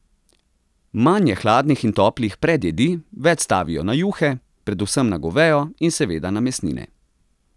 Manj je hladnih in toplih predjedi, več stavijo na juhe, predvsem na govejo, in seveda na mesnine.